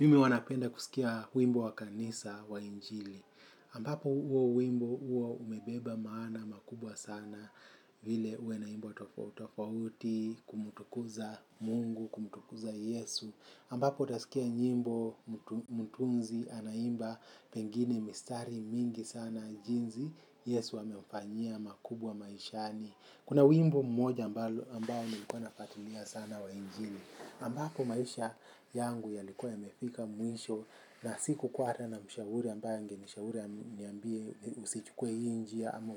Mimi huwa napenda kusikia wimbo wa kanisa wa injili. Ambapo huo wimbo huwa umebeba maana makubwa sana vile huwa inaimbwa tofautofauti, kumtukuza mungu, kumtukuza yesu. Ambapo utasikia nyimbo mtunzi anaimba pengine mistari mingi sana jinsi. Yesu amemfanyia makubwa maishani. Kuna wimbo mmoja ambao nimekuwa nafuatilia sana wa injili. Ambapo maisha yangu yalikuwa yamefika mwisho na sikukuwa hata na mshauri ambaye angenishauri aniambie usichukue hii njia ama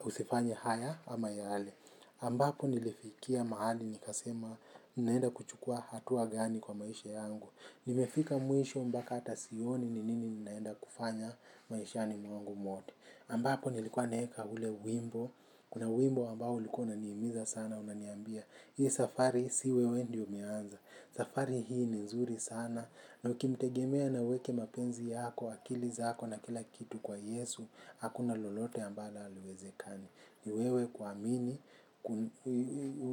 usifanye haya ama yale. Ambapo nilifikia mahali nikasema naenda kuchukua hatua gani kwa maisha yangu. Nimefika mwisho mpaka hata sioni ni nini naenda kufanya maishani mwangu wote. Ambapo nilikuwa naeka ule wimbo, kuna wimbo ambao ulikuwa unanihimiza sana, unaniambia, hii safari si wewe ndio umeanza, safari hii ni nzuri sana, na ukimtegemea na uweke mapenzi yako, akili zako na kila kitu kwa yesu, hakuna lolote ambalo haliwezekani. Ni wewe kuamini,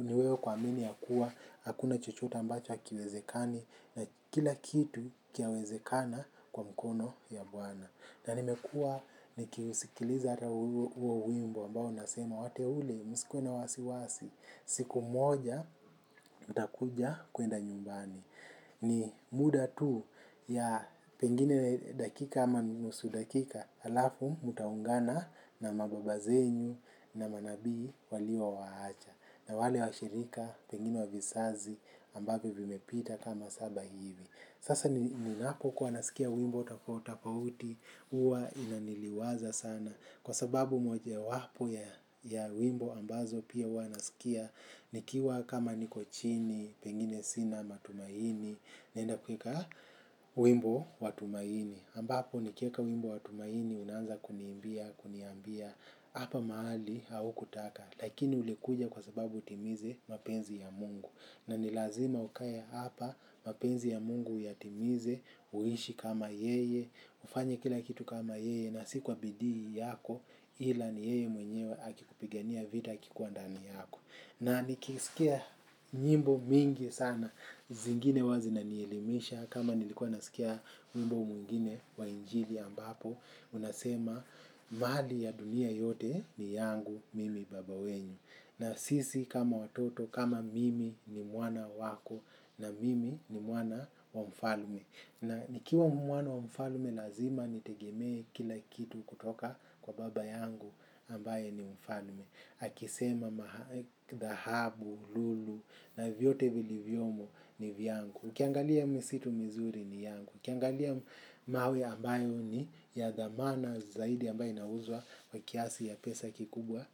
ni wewe kuamini kuwa, hakuna chochote ambacho hakiwezekani na kila kitu chawezekana kwa mkono ya bwana. Na nimekua nikiusikiliza hata huo wimbo ambao nasema, wateule, msikuwe na wasiwasi, siku moja, utakuja kuenda nyumbani. Ni muda tu ya pengine dakika ama nusu dakika halafu mtaungana na mababa zenyu na manabii waliowaacha. Na wale washirika pengine wa vizazi ambavyo vimepita kama saba hivi. Sasa ninapo kuwa nasikia wimbo tofatofauti, huwa ninaniliwaza sana. Kwa sababu mojawapo ya wimbo ambazo pia huwa nasikia, nikiwa kama niko chini, pengine sina matumaini, naenda kuweka wimbo wa tumaini. Ambapo nikieka wimbo wa tumaini, unaanza kuniimbia, kuniambia, hapa mahali au kutaka. Lakini ulikuja kwa sababu utimize mapenzi ya mungu. Na ni lazima ukae hapa mapenzi ya mungu uyatimize, uishi kama yeye, ufanye kila kitu kama yeye na si kwa bidii yako ila ni yeye mwenyewe akikupigania vita akikuwa ndani yako. Na nikisikia nyimbo mingi sana, zingine huwa zinanielimisha. Kama nilikua nasikia wimbo mwingine wa injili ambapo unasema mali ya dunia yote ni yangu mimi baba wenyu. Na sisi kama watoto kama mimi ni mwana wako, na mimi ni mwana wa mfalme. Na nikiwa mwana wa mfalme lazima nitegemee kila kitu kutoka kwa baba yangu. Ambaye ni mfalme. Akisema dhahabu, lulu na vyote vilivyomo ni vyangu. Ukiangalia misitu mizuri ni yangu. Ukiangalia mawe ambayo ni ya dhamana zaidi ambayo inauzwa kwa kiasi ya pesa kikubwa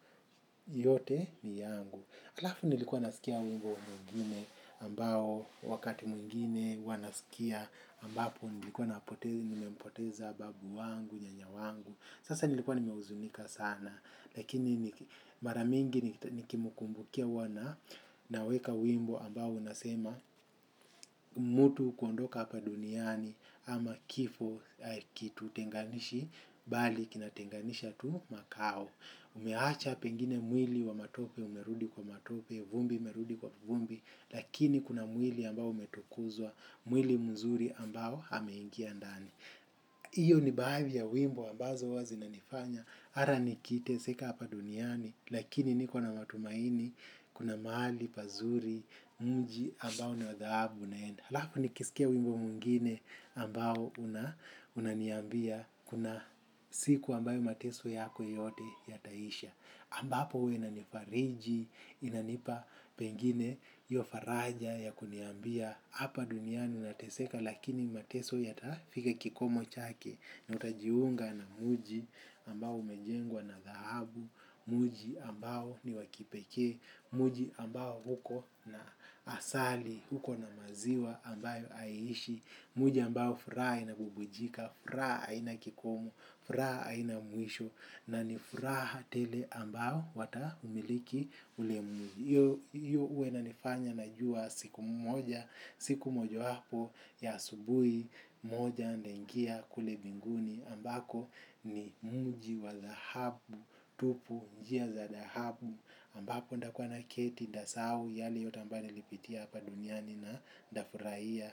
yote ni yangu. Alafu nilikuwa nasikia wimbo mwingine ambao wakati mwingine huwa nasikia ambapo nilikuwa nimempoteza babu wangu, nyanya wangu. Sasa nilikuwa nimehuzunika sana lakini mara mingi nikimkumbukia huwa naweka wimbo ambao unasema, mtu kuondoka hapa duniani ama kifo hakitutenganishi bali kinatenganisha tu makao. Umeacha pengine mwili wa matope umerudi kwa matope, vumbi imerudi kwa vumbi lakini kuna mwili ambao umetukuzwa, mwili mzuri ambao ameingia ndani. Iyo ni baadhi ya wimbo ambazo huwa zinanifanya. Hata nikiteseka hapa duniani lakini niko na matumaini kuna mahali pazuri, mji ambao ni wa dhahabu naenda. Halafu nikisikia wimbo mwingine ambao unaniambia, kuna siku ambayo mateso yako yote yataisha. Ambapo huwa inanifariji, inanipa pengine hiyo faraja ya kuniambia hapa duniani nateseka lakini mateso yatafika kikomo chake. Nitajiunga na mji ambao umejengwa na dhahabu, mji ambao ni wa kipekee, mji ambao uko na asali, uko na maziwa ambayo haiishi, mji ambao furaha inabubujika, furaha haina kikomo, furaha haina mwisho na ni furaha tele ambao wataumiliki ule mji. Hiyo huwa inanifanya najua siku moja, siku mojawapo ya asubuhi moja nitaingia kule mbinguni ambako ni mji wa dhahabu, tupu, njia za dhahabu ambapo nitakuwa naketi, nitasahau, yale yote ambayo nilipitia hapa duniani na nitafurahia.